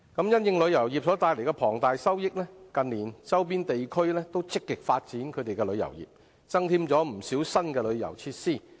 因應旅遊業帶來龐大收益，近年周邊地區均積極發展旅遊業，增添不少新的旅遊設施。